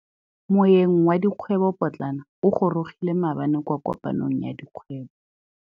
Moêng wa dikgwêbô pôtlana o gorogile maabane kwa kopanong ya dikgwêbô.